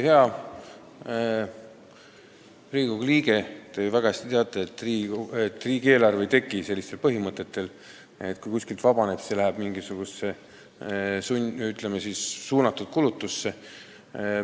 Hea Riigikogu liige, te teate ju väga hästi, et riigieelarve ei teki selliste põhimõtete alusel, et kui kuskilt midagi vabaneb, siis see läheb, ütleme, suunatud kulutuseks.